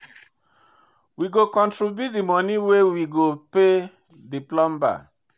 We go contribute di moni wey we go pay di plumber.